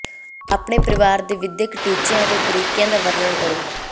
ਆਪਣੇ ਪਰਿਵਾਰ ਦੇ ਵਿਦਿਅਕ ਟੀਚਿਆਂ ਅਤੇ ਤਰੀਕਿਆਂ ਦਾ ਵਰਣਨ ਕਰੋ